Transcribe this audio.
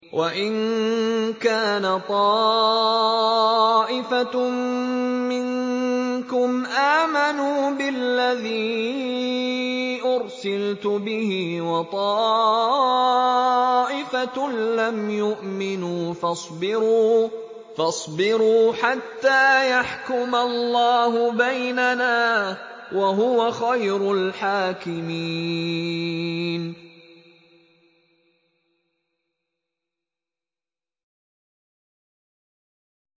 وَإِن كَانَ طَائِفَةٌ مِّنكُمْ آمَنُوا بِالَّذِي أُرْسِلْتُ بِهِ وَطَائِفَةٌ لَّمْ يُؤْمِنُوا فَاصْبِرُوا حَتَّىٰ يَحْكُمَ اللَّهُ بَيْنَنَا ۚ وَهُوَ خَيْرُ الْحَاكِمِينَ